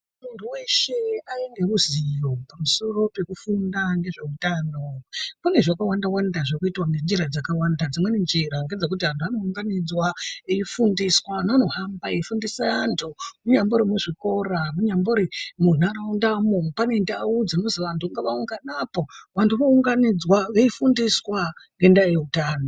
Munhu weshe aye ruziwo pamusoro pekufunda nezveutano, pane zvakawanda wanda zviri kuitwa ngenjira dzakawanda, dzimweni njira ngedzekuti anhu anounganidzwa eifundiswa, neanohamba eifundisa andu kunyambori muzvikora kunyambori munharaundamo, pane ndau dzirikuzi wanhu ngawa ungane apo, wanhu wounganidzwa weifundiswa ngendaa yeutano.